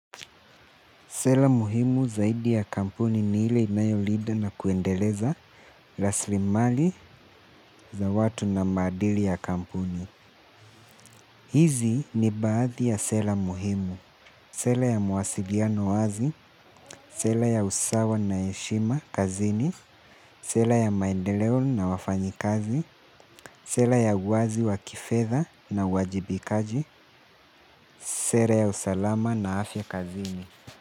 Sela muhimu zaidi ya kampuni ni ile inayo lida na kuendeleza laslimali za watu na maadili ya kampuni. Hizi ni baadhi ya sela muhimu. Sela ya mawasiliano wazi. Sela ya usawa na eshima kazini. Sela ya maendeleo na wafanyikazi. Sela ya uwazi wa kifedha na uwajibikaji. Sera ya usalama na afya kazini.